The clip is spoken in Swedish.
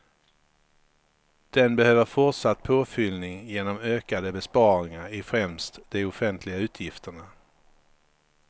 Den behöver fortsatt påfyllning genom ökade besparingar i främst de offentliga utgifterna.